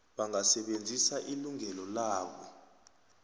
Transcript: bangasebenzisa ilungelo labo